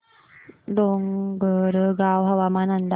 डोंगरगाव हवामान अंदाज